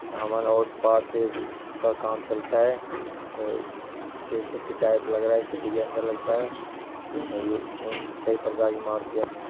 सामान और पार्सेल्स का काम चलता है ये सिटी टाइप लग रहा है सिटी के अन्दर लगता है और ये इसमें कई प्रकार की मारुतिया भी है।